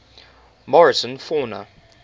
morrison fauna